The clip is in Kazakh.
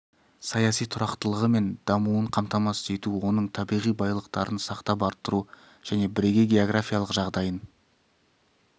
саяси тұрақтылығы мен дамуын қамтамасыз ету оның табиғи байлықтарын сақтап арттыру және бірегей географиялық жағдайын